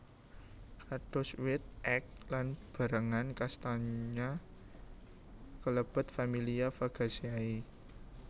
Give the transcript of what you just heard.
Kados wit ek lan berangan kastanya kalebet familia Fagaceae